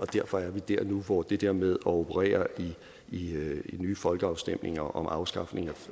og derfor er vi der nu hvor det der med at operere i nye folkeafstemninger om afskaffelse